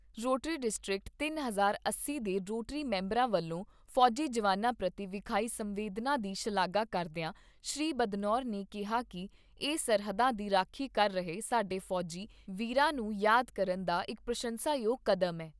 Rotary district ਤੀਹ, ਅੱਸੀ ਦੇ ਰੋਟਰੀ ਮੈਂਬਰਾਂ ਵੱਲੋਂ ਫੌਜੀ ਜਵਾਨਾਂ ਪ੍ਰਤੀ ਵਿਖਾਈ ਸੰਵੇਦਨਾਂ ਦੀ ਸ਼ਲਾਘਾ ਕਰਦਿਆਂ ਸ੍ਰੀ ਬਦਨੌਰ ਨੇ ਕਿਹਾ ਕਿ ਇਹ ਸਰਹੱਦਾਂ ਦੀ ਰਾਖੀ ਕਰ ਰਹੇ ਸਾਡੇ ਫੌਜੀ ਵੀਰਾਂ ਨੂੰ ਯਾਦ ਕਰਨ ਦਾ ਇਕ ਪ੍ਰਸੰਸਾਯੋਗ ਕਡੈਮਏ।